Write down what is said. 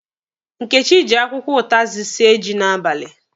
Nkechi ji akwụkwọ ụtazị sie ji n'abalị.